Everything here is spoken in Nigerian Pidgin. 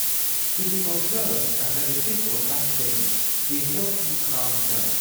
to dey observe as i dey take waka steady dey help me calm down.